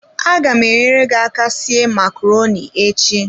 Aga m enyere gi aka sie macaroni echi.